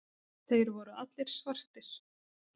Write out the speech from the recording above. Þeir voru allir svartir.